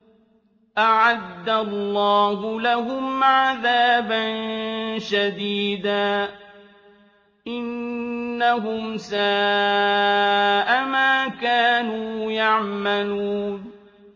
أَعَدَّ اللَّهُ لَهُمْ عَذَابًا شَدِيدًا ۖ إِنَّهُمْ سَاءَ مَا كَانُوا يَعْمَلُونَ